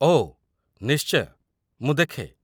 ଓଃ, ନିଶ୍ଚୟ, ମୁଁ ଦେଖେ!